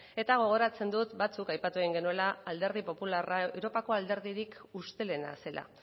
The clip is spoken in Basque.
eta gogoratzen dut batzuk aipatu egin genuela alderdi popularra europako alderdirik ustelena zela